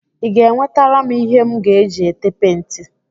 Ị ga-enwetara m ihe m ga-eji ete penti?